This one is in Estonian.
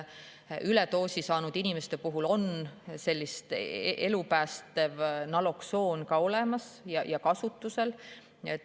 Üledoosi saanud inimeste jaoks on elupäästev naloksoon olemas ja kasutusel.